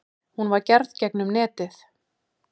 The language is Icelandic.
Hún var gerð gegnum netið.